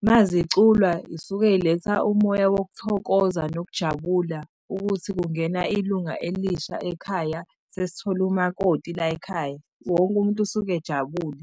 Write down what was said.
uma ziculwa yisuke yiletha umoya wokuthokoza nokujabula ukuthi kungena ilunga elisha ekhaya, sesithole umakoti layikhaya. Wonke umuntu usuke ejabule.